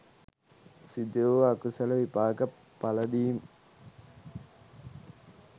සිදු වූ අකුසල විපාක පලදීම්